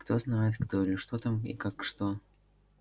кто знает кто или что там и как что